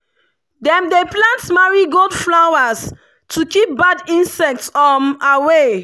dem dey plant marigold flowers to keep bad insects um away.